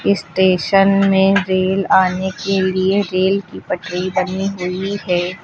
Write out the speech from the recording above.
Station में rail आने के लिए रेल की पटरी बनी हुई है।